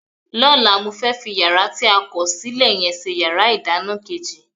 Lọ́la, mo fẹ́ fi yàrá tí a kọ̀ sílẹ̀ yẹn ṣe yàrá ìdáná kejì